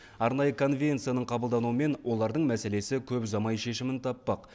арнайы конвенцияның қабылдануымен олардың мәселесі көп ұзамай шешімін таппақ